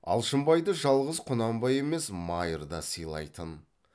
алшынбайды жалғыз құнанбай емес майыр да сыйлайтын